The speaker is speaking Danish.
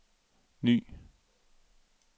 ny